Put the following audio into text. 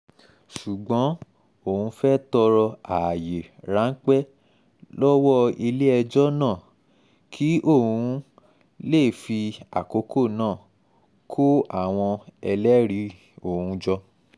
ṣùgbọ́n òun fẹ́ẹ́ tọrọ ààyè ráńpẹ́ lọ́wọ́ ilé-ẹjọ́ náà kí òun um lè fi àkókò náà kó àwọn um ẹlẹ́rìí òun jọ